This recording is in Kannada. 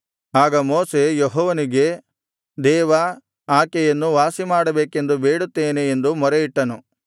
ಆಗ ಮೋಶೆ ಯೆಹೋವನಿಗೆ ದೇವಾ ಆಕೆಯನ್ನು ವಾಸಿಮಾಡಬೇಕೆಂದು ಬೇಡುತ್ತೇನೆ ಎಂದು ಮೊರೆಯಿಟ್ಟನು